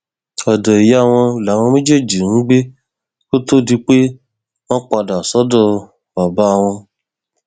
ọdọ ìyá wọn làwọn méjèèjì ń gbé kó tóó di pé wọn padà sọdọ bàbá wọn